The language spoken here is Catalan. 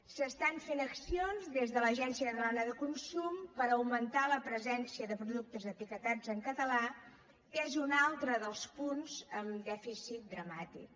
s’estan fent accions des de l’agència catalana del consum per augmentar la presència de productes etiquetats en català que és un altre dels punts amb dèficit dramàtic